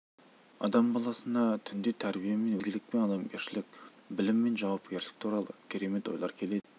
адам баласына түнде тәрбие мен өнеге ізгілік пен адамгершілік білім мен жауапкершілік туралы керемет ойлар келеді екен